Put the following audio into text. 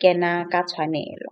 kena ka tshwanelo.